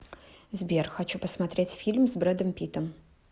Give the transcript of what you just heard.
сбер хочу посмотреть фильм с брэдом питтом